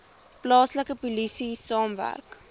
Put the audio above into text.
plaaslike polisie saamwerk